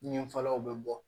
Ɲɛfɛlaw bɛ bɔ